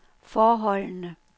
forholdene